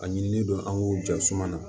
A ɲinilen don an k'o jɔsuma na